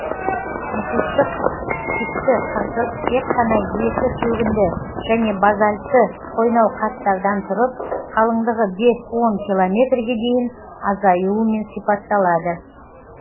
мұхиттық типті қыртыс тек қана екі шөгінді және базальтті қойнауқаттардан тұрып қалыңдығы бес он километрге дейін азаюымен сипатталады